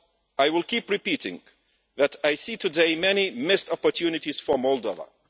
I will keep repeating that I see today many missed opportunities for Moldova.